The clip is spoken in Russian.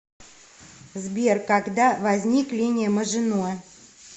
сбер когда возник линия мажино